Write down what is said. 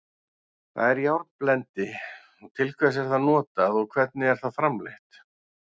Hvað er járnblendi, til hvers er það notað og hvernig er það framleitt?